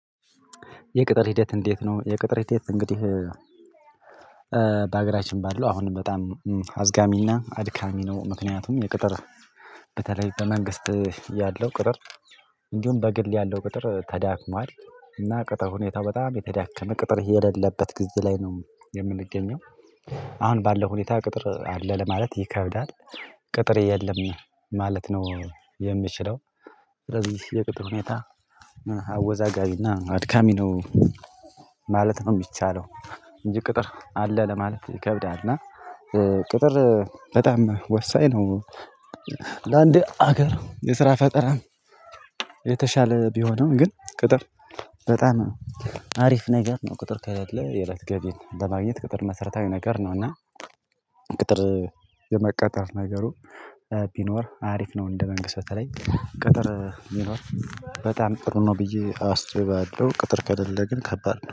የቅጥር ሂደት እንዴት ነው? የቅጥር ሂደት እንግዲህ በሀገራችን ባለው አሁንም በጣም አዝጋሚና አድካሚ ነው። ምክንያቱም የቅጥር በተለይ በመንግስት ያለው ቅጥር እንዲሁም በግል ያለው ቅጥር ተዳክሟል። እና ቅጥር ሁኔታው በጣም የተዳከመ ቅጥር የሌለበት ግዜ ላይ ነው የምንገኘው። አሁን ባለው ሁኔታ ቅጥር አለ ለማለት ይከብዳል። ቅጥር የለም ማለት ነው የምችለው። ስለዚህ የቅጥር ሁኔታ አወዛጋቢና አድካሚ ነው ማለት ነው የሚቻለው። እንጂ ቅጥር አለ ለማለት ይከብዳል። እና ቅጥር በጣም ወሳኝ ነው። ለአንድ ሀገር የስራ ፈጠራም የተሻለ ቢሆንም ግን ቅጥር በጣም አሪፍ ነገር ነው። ቅጥር ከሌለ የእለት ገቢን ለማግኘት ቅጥር መሰረታዊ ነገር ነውና። ቅጥር የመቀጠር ነገሩ ቢኖር አሪፍ ነው። እንደ መንግስት በተለይ ቅጥር ቢኖር በጣም ጥሩ ነው ብዬ አስባለሁ። ቅጥር ከሌለ ግን ከባድ